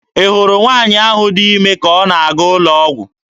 Ị hụrụ nwaanyị ahụ dị ime ka ọ na-aga n'ụlọ ọgwụ.